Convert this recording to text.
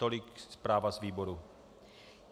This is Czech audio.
Tolik zpráva z výboru.